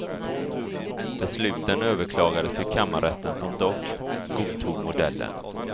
Besluten överklagades till kammarrätten som dock godtog modellen.